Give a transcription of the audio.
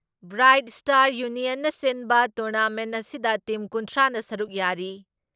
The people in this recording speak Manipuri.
ꯕ꯭ꯔꯥꯏꯠ ꯏꯁꯇꯥꯔ ꯌꯨꯅꯤꯌꯟꯅ ꯁꯤꯟꯕ ꯇꯣꯔꯅꯥꯃꯦꯟ ꯑꯁꯤꯗ ꯇꯤꯝ ꯀꯨꯟꯊ꯭ꯔꯥ ꯅ ꯁꯔꯨꯛ ꯌꯥꯔꯤ ꯫